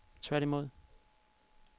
tværtimod